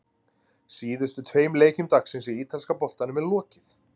Síðustu tveim leikjum dagsins í ítalska boltanum er lokið.